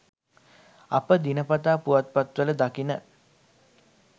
අප දිනපතා පුවත්පත්වල දකින